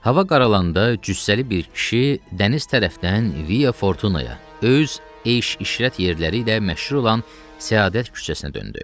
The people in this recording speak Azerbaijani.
Hava qaralanda cüssəli bir kişi dəniz tərəfdən Via Fortuna'ya, öz eş-işrət yerləri ilə məşhur olan Səadət küçəsinə döndü.